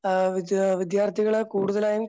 ആഹ് വിദ്യ വിദ്യാർത്ഥികളെ കൂടുതലായും